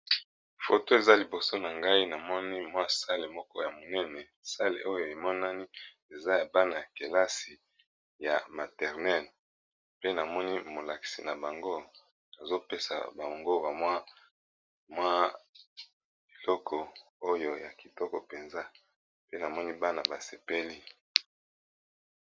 Photo eza liboso na ngai namoni eza salle ya monene salle oyo emonani eza Bana ya kilase ya maternel pe molakisi nabango azo pesa bango eloko moko ya kitoko penza pe namoni Bana basepeli.